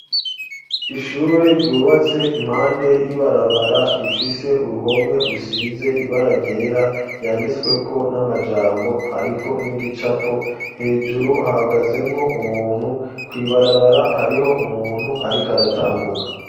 Ishure ryubatse impande y'ibarabara rifise uruhome rusize ibara ryera yanditsweko n'amajambo ariko n'igicapo hejuru hagazemwo umuntu kwibarabara hariho umuntu ariko aratambuka.